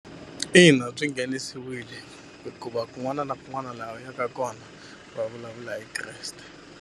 Ina byi nghenisiwile hikuva kun'wana na kun'wana laha u yaka kona va vulavula hi Kreste.